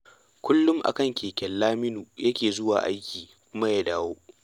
Kullum a kan keke Laminu yake zuwa aiki kuma ya dawo